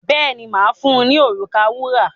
Bẹ́ẹ̀ni, mà á fun ní òrùka wúrà.